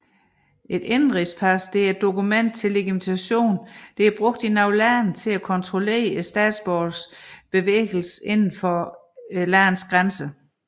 Et indenrigspas er et dokument til legitimation brugt i nogle lande til at kontrollere statsborgeres bevægelse inden for landets grænser